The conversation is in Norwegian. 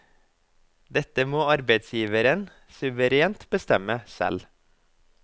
Dette må arbeidsgiveren suverent bestemme selv.